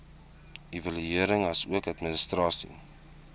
evaluering asook administrasie